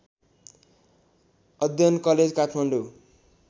अध्ययन कलेज काठमाडौँ